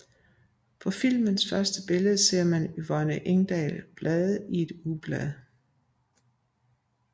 På filmens første billede ser man Yvonne Ingdal blade i et ugeblad